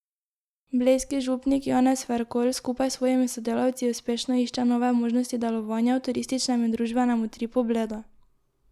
Blejski župnik Janez Ferkolj skupaj s svojimi sodelavci uspešno išče nove možnosti delovanja v turističnem in družbenem utripu Bleda.